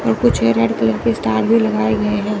और कुछ red colour के स्टार भी लगाए गए हैं।